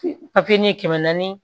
Papiye kɛmɛ naani